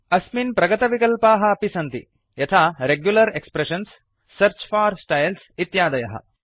अस्मिन् प्रगतविकल्पाः अपि सन्ति यथा regular expressions search for styles इत्यादयः